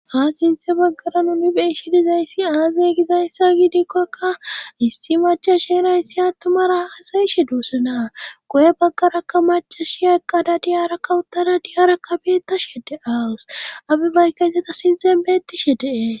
ha sinthe baggara nuni beeshi dizayssi aazay gizayssa gidikkokka issi macashera attumara asayishe duussana go7e baggarakka macashiyaqqada diyara kawutara diyara kabeeta shede awus abe baykkayssata sinten beettishe dees